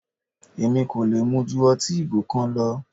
Èmi kò lè mu ju ọtí ìgò kan lọ.